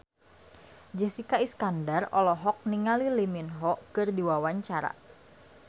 Jessica Iskandar olohok ningali Lee Min Ho keur diwawancara